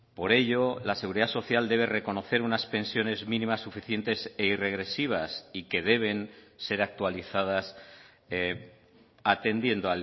por ello la seguridad social debe reconocer unas pensiones mínimas suficientes e irregresivas y que deben ser actualizadas atendiendo